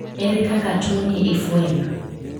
Ere kaka tuoni ifwenyo?